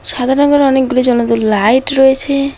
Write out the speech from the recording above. সাদা রঙের অনেকগুলি জ্বলন্ত লাইট রয়েছে।